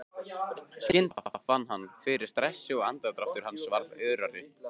Skyndilega fann hann fyrir stressi og andardráttur hans varð örari.